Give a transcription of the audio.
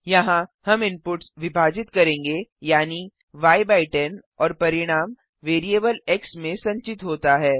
यहाँ हम इनपुट्स विभाजित करेंगे यानि य बाय 10 और परिणाम वेरीअबल एक्स में संचित होता है